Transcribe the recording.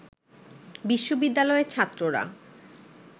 বিশ্ববিদ্যালয়ের ছাত্ররা